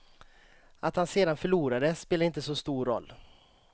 Att han sedan förlorade spelade inte så stor roll.